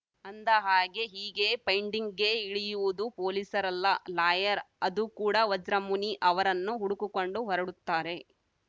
ಅಂದಹಾಗೆ ಹೀಗೆ ಫೈಂಡಿಂಗ್‌ಗೆ ಇಳಿಯುವುದು ಪೊಲೀಸರಲ್ಲ ಲಾಯರ್‌ ಅದು ಕೂಡ ವಜ್ರಮುನಿ ಅವರನ್ನು ಹುಡುಕೊಂಡು ಹೊರಡುತ್ತಾರೆ